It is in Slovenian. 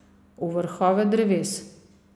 V vrhove dreves.